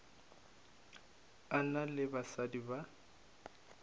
a na le basadi ba